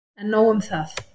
En nóg um það.